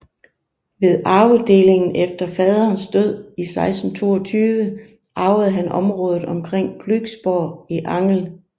Ved arvedelingen efter faderens død i 1622 arvede han området omkring Glücksborg i Angel